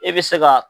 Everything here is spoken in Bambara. E bɛ se ka